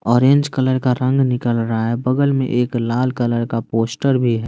Orange colour का रंग निकल रहा है बगल में एक लाल कलर का पोस्टर भी है।